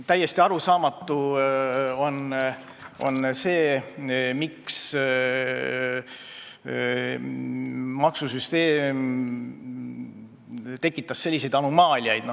Täiesti arusaamatu on see, miks maksusüsteem tekitab selliseid anomaaliaid.